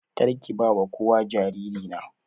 Karki bawa kowa jariri na.